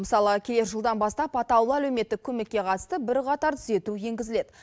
мысалы келер жылдан бастап атаулы әлеуметтік көмекке қатысты бірқатар түзету енгізіледі